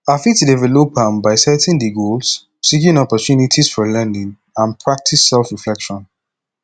i fit develop am by setting di goals seek opportunities for learning and practice selfreflection